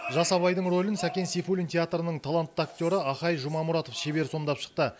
жас абайдың рөлін сәкен сейфуллин театрының талантты актері ахай жұмамұратов шебер сомдап шықты